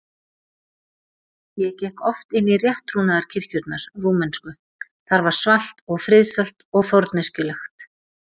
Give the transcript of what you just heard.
ég gekk oft inn í rétttrúnaðarkirkjurnar rúmensku, þar var svalt og friðsælt og forneskjulegt.